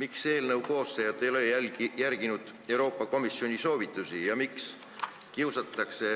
Miks eelnõu koostajad ei ole järginud Euroopa Komisjoni soovitusi ja miks Eestis kiusatakse